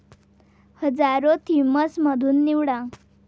हजारो थीम्स मधुन निवडा